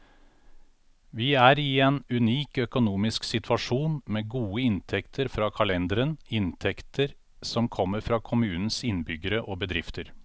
Vi er i en unik økonomisk situasjon, med gode inntekter fra kalenderen, inntekter som kommer fra kommunens innbyggere og bedrifter.